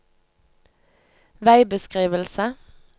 veibeskrivelse